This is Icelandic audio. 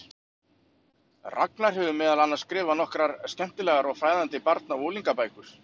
Ragnar hefur meðal annars skrifað nokkrar skemmtilegar og fræðandi barna- og unglingabækur.